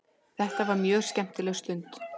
Þetta var mjög skemmtileg stund.